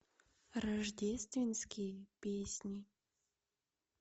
рождественские песни